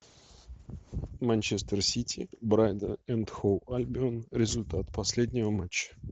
манчестер сити брайтон энд хоув альбион результат последнего матча